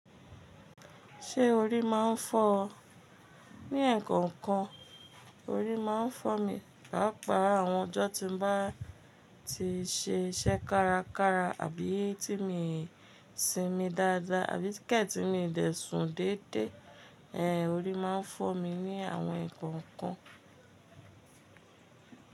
Ṣé orí máa ń fọ́ ọ? Ní ẹ̀ẹ̀kọ̀kan orí máa ń fọ́ mi, pàápàá àwọn ọjọ́ tí n bá ti ṣe iṣẹ́ kárakára àbí tí mi sinmi dáadáa àbí kẹ̀ tí mi dẹ̀sùn dédé. Ẹ̀ orí máa ń fọ́ mi ní àwọn ẹ̀kọ̀kan.